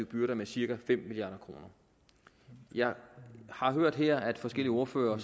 byrder med cirka fem milliard kroner jeg har hørt her at forskellige ordførere